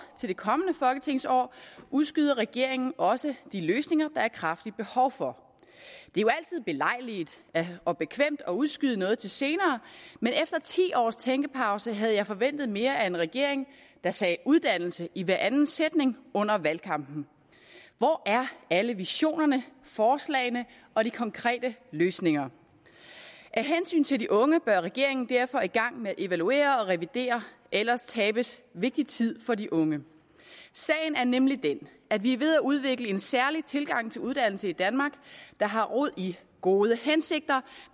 til det kommende folketingsår udskyder regeringen også de løsninger der er kraftigt behov for det er jo altid belejligt og bekvemt at udskyde noget til senere men efter ti års tænkepause havde jeg forventet mere af en regering der sagde uddannelse i hver anden sætning under valgkampen hvor er alle visionerne forslagene og de konkrete løsninger af hensyn til de unge bør regeringen derfor gå i gang med at evaluere og revidere ellers tabes vigtig tid for de unge sagen er nemlig den at vi er ved at udvikle en særlig tilgang til uddannelse i danmark der har rod i gode hensigter